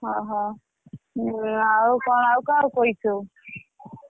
ହଉ ହଉ ଆଉକଣ ଆଉ କାହାକୁ କହିଛୁ ସବୁ?